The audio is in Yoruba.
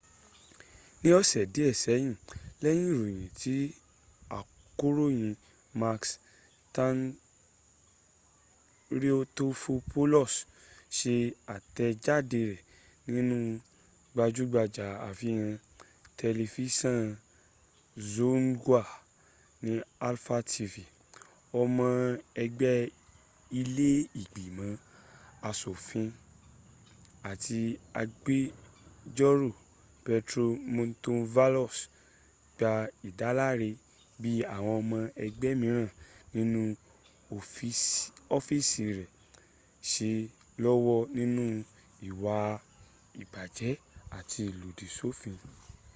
ní ọ̀sẹ̀ díè sẹ́yìn lẹyìn ìròyìn tí akọròyìn makis triantafylopoulos sẹ àtèjádẹ rẹ nínú gbajúgbajà àfihàn tẹlifísàn zoungla ní alpha tv ọmọ ẹgbé ilẹ́ ìgbimọ̀ asòfin àti agbẹjórò petros mantouvalos gba ìdáláre bi àwọn ọmọ ẹgbẹ́ míràn nínú ofiisi rẹ se lọ́wọ́ nínú ìwà ìbàjẹ́ àti ìlòdì sófin